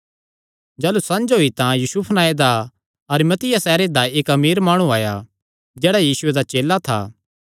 जाह़लू संझ होई तां यूसुफ नांऐ दा अरिमतिया सैहरे दा इक्क अमीर माणु जेह्ड़ा यीशुये दा चेला था आया